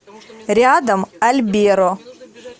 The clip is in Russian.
рядом альберо